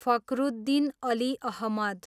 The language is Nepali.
फखरुद्दिन अली अहमद